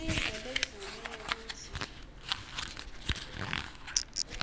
live ledvume ngekutsi